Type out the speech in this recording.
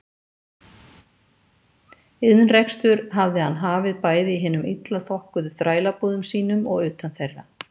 Iðnrekstur hafði hann hafið bæði í hinum illa þokkuðu þrælabúðum sínum og utan þeirra.